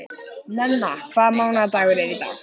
Nenna, hvaða mánaðardagur er í dag?